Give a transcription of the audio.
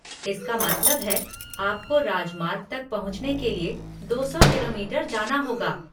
इसका मतलब है आपको राजमार्ग तक पहुँचने के लिए दो सौ किलोमीटर जाना होगा।